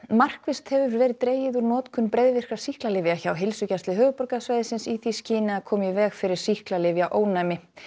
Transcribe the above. markvisst hefur verið dregið úr notkun breiðvirkra sýklalyfja hjá Heilsugæslu höfuðborgarsvæðisins í því skyni að koma í veg fyrir sýklalyfjaónæmi